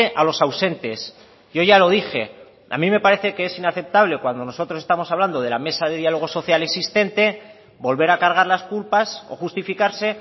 a los ausentes yo ya lo dije a mí me parece que es inaceptable cuando nosotros estamos hablando de la mesa de diálogo social existente volver a cargar las culpas o justificarse